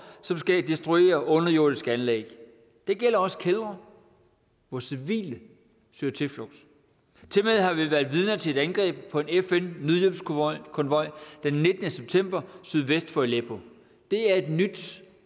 som skal destruere underjordiske anlæg det gælder også kældre hvor civile søger tilflugt tilmed har vi været vidner til et angreb på en fn nødhjælpskonvoj den nittende september sydvest for aleppo det er et nyt